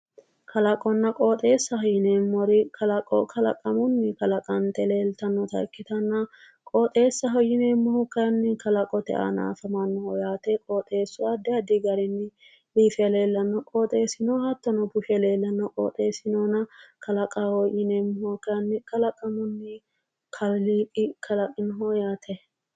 Kalaqonna qooxeessa yineemori kalaqo kalaqamunni kalaqanitte leelitannota ikkitanna qooxesaho yineemori kayinni kalaqote aana afamannoho yaate qooxeesu addi addi garinni biife leelanno qooxesinno hattono bushe leelanno qooxesinno noona kalaqaho yineemohu kayinni kalaqamunni kaaliqi kalaqinoho yaate